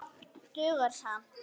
Dugar skammt.